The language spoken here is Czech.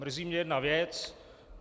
Mrzí mě jedna věc.